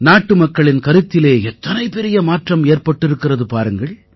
நாட்டுமக்களின் கருத்திலே எத்தனை பெரிய மாற்றம் ஏற்பட்டிருக்கிறது பாருங்கள்